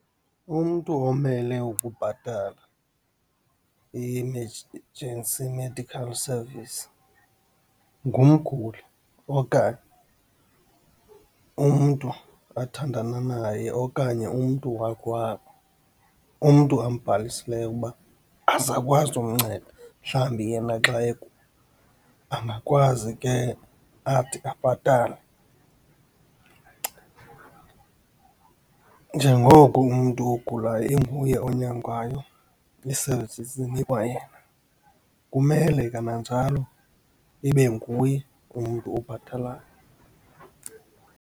Umntu omele ukubhatala Medical Service ngumguli okanye umntu athandana naye, okanye umntu wakowabo, umntu ambhalisileyo ukuba azakwazi umnceda mhlawumbi yena xa , angakwazi ke athi abhatale. Njengoko umntu ogulayo inguye onyangwayo, ii-services zinikwa yena, kumele kananjalo ibe nguye umntu obhatalayo.